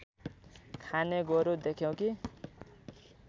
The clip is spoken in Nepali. खाने गोरु देख्यौ कि